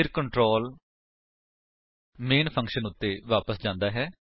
ਫਿਰ control main function ਉੱਤੇ ਵਾਪਸ ਜਾਂਦਾ ਹੈ